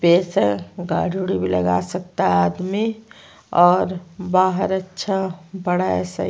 space है और गाडी उड़ी भी लगा सकता है आदमी और बाहर अच्छा बड़ा सा--